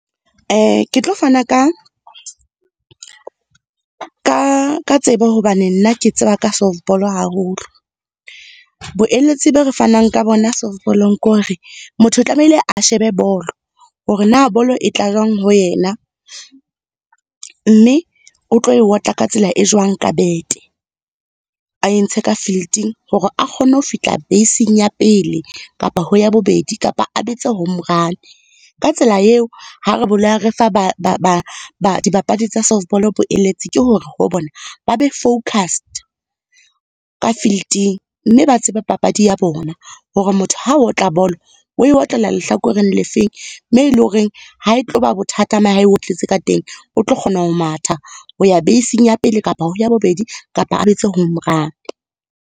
Ke tlo fanaka ka tsebo hobane nna ke tseba ka softball haholo. Boeletsi be re fanang ka bona softball-ong ke hore, motho o tlamehile a shebe bolo, hore na bolo e tla jwang ho yena, mme o tlo e otla ka tsela e jwang ka bete. A entshe ka filiting hore a kgone ho fihla base-ing ya pele kapa ho ya bobedi, kapa a betse home run. Ka tsela eo, ha re re fa ba, dibapadi tsa soft ball boeletsi, ke hore ho bona ba be focused ka filiting mme ba tsebe papadi ya bona. Hore motho ha otla bolo, o e otlela lehlakoreng le feng, moo e leng hore ha e tloba bothata ha e o tletse ka teng, o tlo kgona ho matha ho ya base-ing ya pele kapa ho ya bobedi, kapa a betse home run.